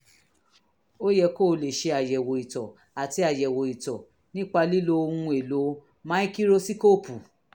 ó yẹ kó o lọ ṣe àyẹ̀wò ìtọ̀ àti àyẹ̀wò ìtọ̀ nípa lílo ohun-èlò máíkírósíkóópù